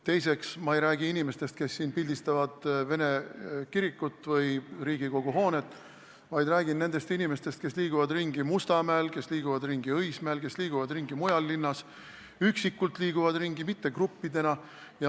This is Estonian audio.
Teiseks, ma ei räägi inimestest, kes pildistavad vene kirikut või Riigikogu hoonet, vaid räägin nendest inimestest, kes liiguvad ringi Mustamäel, kes liiguvad ringi Õismäel, kes liiguvad ringi mujal linnas, nad liiguvad ringi üksikult, mitte gruppidena.